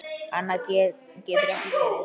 Annað getur ekki verið.